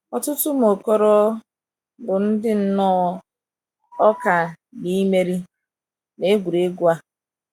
Ọtụtụ ụmụ okoro bụ ndi nnọọ ọkà n’imeri “ n’egwuregwu ” a.